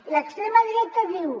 l’extrema dreta diu